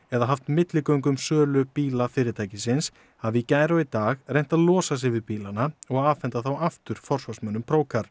eða haft milligöngu um sölu bíla fyrirtækisins hafa í gær og í dag reynt að losa sig við bílana og afhenda þá aftur forsvarsmönnum